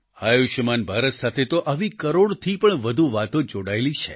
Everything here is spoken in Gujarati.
આયુષ્યમાન ભારત સાથે તો આવી કરોડથી પણ વધુ વાતો જોડાયેલી છે